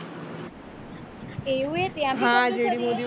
એવું હે ત્યાં બી